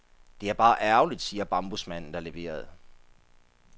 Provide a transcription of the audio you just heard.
Det er bare ærgerligt, siger bambusmanden, der leverede.